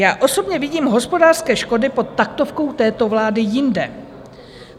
Já osobně vidím hospodářské školy pod taktovkou této vlády jinde.